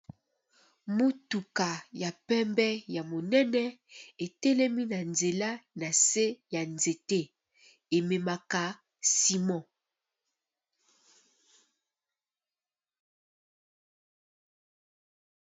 Mutuka ya pembe ya monene etelemi na nzela nase ya nzete ememaka Simon.